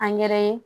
Angɛrɛ ye